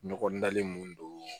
Ɲɔgɔn dalen mun don